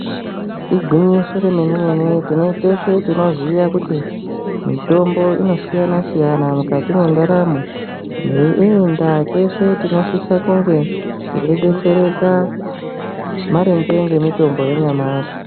Igwinyiso remene-mene teshe tinoziya kuti mitombo inosiyana-siyana mukati mwendaramo. Neiyi ndaa teshe tinosisa kunge teidetsereka maringe nemitombo yanyamashi.